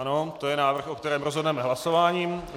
Ano, to je návrh, o kterém rozhodneme hlasováním.